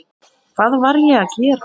Hvað var ég að gera.?